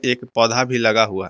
एक पौधा भी लगा हुआ है।